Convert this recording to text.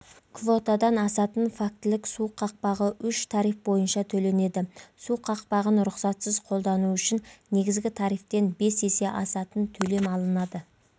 квотадан асатын фактілік су қақпағы үш тариф бойынша төленеді су қақпағын рұқсатсыз қолдану үшін негізгі тарифтен бес есе асатын төлем алынады